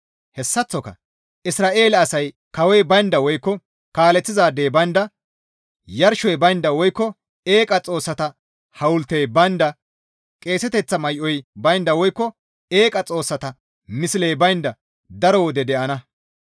Hessaththoka Isra7eele asay kawoy baynda woykko kaaleththizaadey baynda, yarshoy baynda woykko eeqa xoossata hawultey baynda, qeeseteththa may7oy baynda woykko eeqa xoossata misley baynda daro wode de7ana.